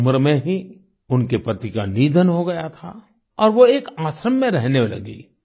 कम उम्र में ही उनके पति का निधन हो गया था और वो एक आश्रम में रहने लगी